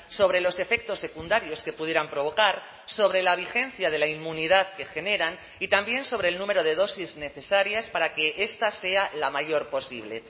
sobre los efectos secundarios que pudieran provocar sobre la vigencia de la inmunidad que generan y también sobre el número de dosis necesarias para que esta sea la mayor posible